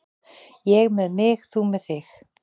Ég með mig, þú með þig.